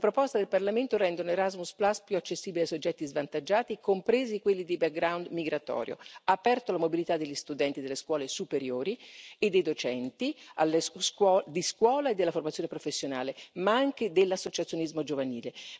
Le proposte del Parlamento rendono Erasmus più accessibile ai soggetti svantaggiati, compresi quelli di background migratorio, e prevedono la mobilità degli studenti delle scuole superiori e dei docenti della scuola e della formazione professionale, ma anche dell'associazionismo giovanile.